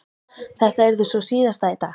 Þetta yrði sú síðasta í dag.